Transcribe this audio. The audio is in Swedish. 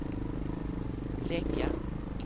lägga